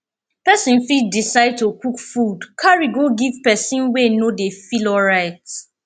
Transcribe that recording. persin fit decide to cook food carry go give persin wey no de feel alright